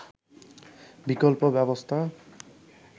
বিকল্প ব্যবস্থা